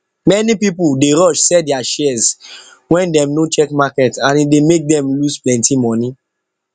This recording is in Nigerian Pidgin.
many people dey rush sell their shares wen dem no check market and e dey make dem lose plenty money